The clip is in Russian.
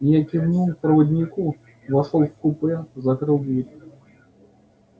я кивнул проводнику вошёл в купе закрыл дверь